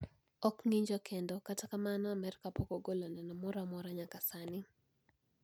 Ok ng`injo kendo, kata kamano pok Amerka ogolo neno moro amora nyaka sani